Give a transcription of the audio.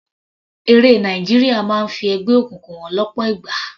Eré Nàìjíríà máa ń fi ẹgbẹ́ òkùnkùn hàn lọ́pọ̀ ìgbà.